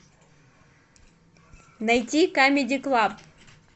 найти камеди клаб